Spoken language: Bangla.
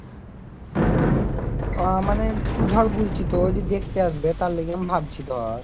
ওঁ মানে তুই ধর বলছিস দেখতে আসবে তার লেগে আমি ভাবছিলম